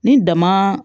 Ni dama